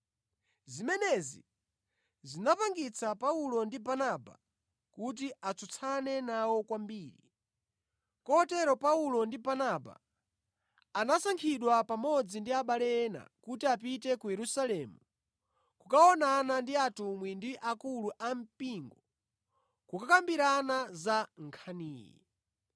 Zimenezi zinachititsa Paulo ndi Barnaba kuti atsutsane nawo kwambiri. Kotero Paulo ndi Barnaba anasankhidwa pamodzi ndi abale ena kuti apite ku Yerusalemu kukaonana ndi atumwi ndi akulu ampingo kukakambirana za nkhaniyi.